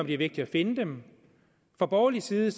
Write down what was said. det er vigtigt at finde dem fra borgerlig side